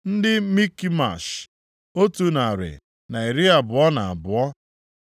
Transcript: ndị Mikmash, otu narị na iri abụọ na abụọ (122),